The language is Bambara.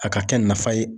A ka kɛ nafa ye